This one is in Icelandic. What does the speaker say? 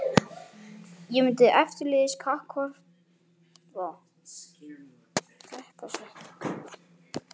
Ég mun eftirleiðis kappkosta að ávarpa hann með þessum titli.